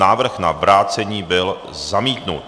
Návrh na vrácení byl zamítnut.